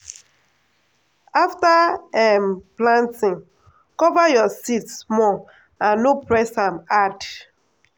afta um planting cover your seeds small and no press am hard.